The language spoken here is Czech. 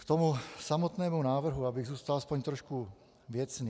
K tomu samotnému návrhu, abych zůstal aspoň trošku věcný.